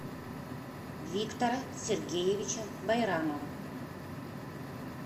виктора сергеевича байрамова